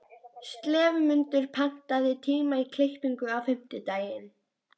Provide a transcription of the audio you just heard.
slefmundur, pantaðu tíma í klippingu á fimmtudaginn.